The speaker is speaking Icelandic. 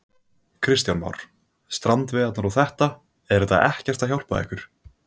Kristján Már: Strandveiðarnar og þetta, er þetta ekkert að hjálpa ykkur?